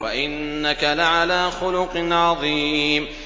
وَإِنَّكَ لَعَلَىٰ خُلُقٍ عَظِيمٍ